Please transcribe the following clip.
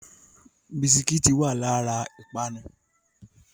Bisikítì wá lára ìpápánu